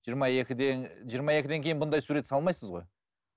жиырма екіден жиырма екіден кейін мұндай сурет салмайсыз ғой